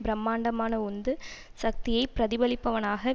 பிரமாண்டமான உந்து சக்தியை பிரதிபலிப்பனவாக